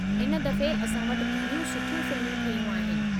इन दफ़े असां वटि घणियूं सुठियूं फ़िल्मूं ठहियूं आहिनि।